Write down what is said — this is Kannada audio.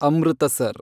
ಅಮೃತಸರ್